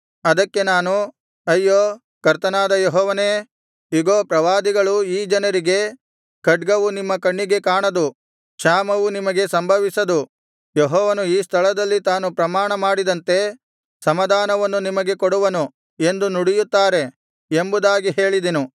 ಅದಕ್ಕೆ ನಾನು ಅಯ್ಯೋ ಕರ್ತನಾದ ಯೆಹೋವನೇ ಇಗೋ ಪ್ರವಾದಿಗಳು ಈ ಜನರಿಗೆ ಖಡ್ಗವು ನಿಮ್ಮ ಕಣ್ಣಿಗೆ ಕಾಣದು ಕ್ಷಾಮವು ನಿಮಗೆ ಸಂಭವಿಸದು ಯೆಹೋವನು ಈ ಸ್ಥಳದಲ್ಲಿ ತಾನು ಪ್ರಮಾಣ ಮಾಡಿದಂತೆ ಸಮಾಧಾನವನ್ನು ನಿಮಗೆ ಕೊಡುವನು ಎಂದು ನುಡಿಯುತ್ತಾರೆ ಎಂಬುದಾಗಿ ಹೇಳಿದೆನು